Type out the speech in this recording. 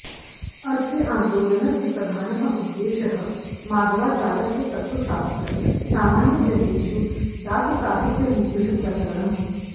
अस्य आन्दोलनस्य प्रधानः उद्देशः मध्वाचार्यस्य तत्त्वशास्त्रं सामान्यजनेषु दाससाहित्यरूपेण प्रसरणम्